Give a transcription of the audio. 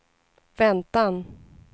väntan